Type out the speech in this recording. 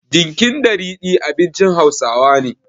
Dinkin da ridi abincin Hausawa ne.